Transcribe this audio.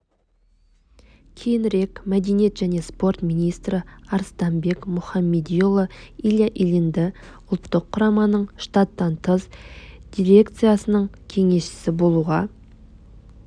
кейінірек мәдениет және спорт министрі арыстанбек мұхамедиұлы илья ильинді ұлттық құраманың штаттан тыс дирекциясының кеңесшісі болуға